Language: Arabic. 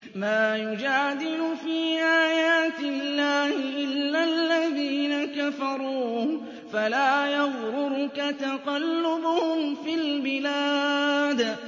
مَا يُجَادِلُ فِي آيَاتِ اللَّهِ إِلَّا الَّذِينَ كَفَرُوا فَلَا يَغْرُرْكَ تَقَلُّبُهُمْ فِي الْبِلَادِ